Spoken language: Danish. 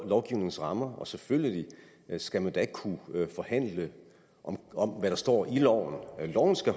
lovgivningens rammer selvfølgelig skal man ikke kunne forhandle om hvad der står i loven loven skal